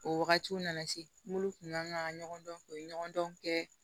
O wagatiw nana se n'olu kun man ka ɲɔgɔn dɔn u ye ɲɔgɔn dɔn kɛ